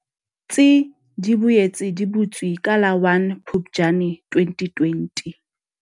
Tsi di boetse di butswe ka la 1 Phuptjane 2020.